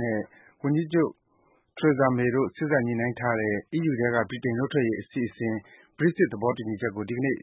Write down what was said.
နဲ့ ဝန်ကြီးချုပ် Theresa May တို့ စေ့စပ် ညှိနှိုင်းထားတဲ့ အီးယူထဲက ဗြိတိန်နှုတ်ထွက်ရေးအစီအစဉ် Brexit သဘောတူညီချက်ကို ဒီကနေ့